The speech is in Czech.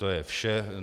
To je vše.